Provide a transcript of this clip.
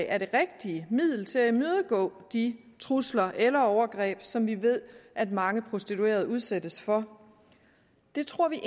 er det rigtige middel til at imødegå de trusler eller overgreb som vi ved at mange prostituerede udsættes for det tror vi